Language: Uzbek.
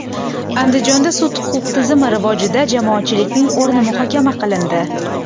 Andijonda sud-huquq tizimi rivojida jamoatchilikning o‘rni muhokama qilindi.